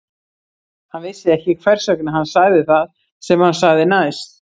Hann vissi ekki hvers vegna hann sagði það sem hann sagði næst.